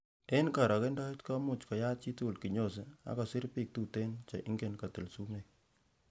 En korogendoet, komuche koyat chitugul kinyosi ak kosir bik tuten che ingen kotil sumek.